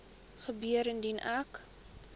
gebeur indien ek